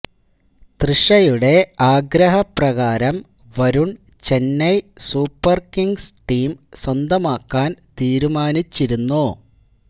തൃഷയുടെ ആഗ്രഹപ്രകാരം Varun Chennai super kings team സ്വന്തമാക്കാൻ തീരുമാനിച്ചിരുന്നു